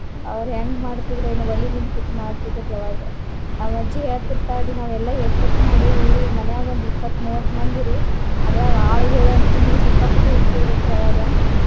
ಅವ್ರ್ ಹೆಂಗ್ ಮಾಡ್ತಿದ್ರ ಏನೊ ಒಲಿ ಮುಂದ್ ಕೂತ್ ಮಾಡ್ತಿದ್ರಿ ಅವಾಗ. ನಮ್ಮ ಅಜ್ಜಿ ಹೇಳ್ತಿರ್ತಾಳ್ರಿ ನಾವೆಲ್ಲಾ ಏಟ್ಟೆಟ್ಟ್ ಮಾಡೇವಿ ಮನ್ಯಾಗ ಒಂದ್ ಇಪ್ಪತ್ತ್ ಮೂವತ್ತ್ ಮಂದಿರಿ. ಅದ್ರಾಗ ಆಳುಗೊಳು ಅಂತ್ರುನು ಸಿಕ್ಕಾಪಟ್ಟೆ ಉಣ್ತಿದ್ರ ಅಂತ್ರಿ ಅವಾಗ.